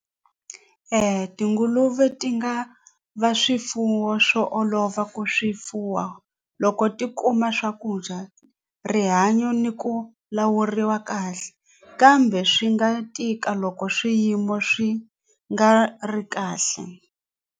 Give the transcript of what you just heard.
Tinguluve ti nga va swifuwo swo olova ku swi fuwa loko ti kuma swakudya rihanyo ni ku lawuriwa kahle kambe swi nga tika loko swiyimo swi nga ri kahle.